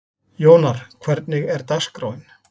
Jónar, hvernig er dagskráin?